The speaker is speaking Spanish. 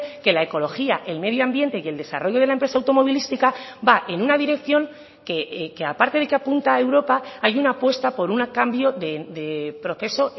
que la ecología el medio ambiente y el desarrollo de la empresa automovilística va en una dirección que aparte de que apunta a europa hay una apuesta por un cambio de proceso